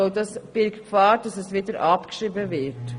Letzteres birgt die Gefahr, dass es wieder abgeschrieben wird.